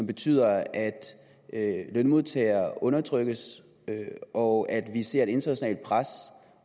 betyder at at lønmodtagere undertrykkes og at vi ser et internationalt pres